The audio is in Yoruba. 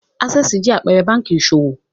Access Bank jẹ́ àpẹẹrẹ báńkì ìṣòwò.